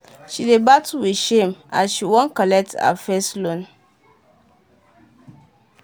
she dey battle with shame as she wan collect her first loan. um